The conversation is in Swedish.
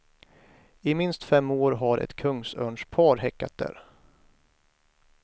I minst fem år har ett kungsörnspar häckat där.